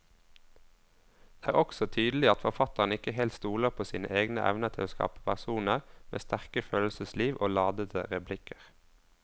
Det er også tydelig at forfatteren ikke helt stoler på sine egne evner til å skape personer med sterke følelsesliv og ladete replikker.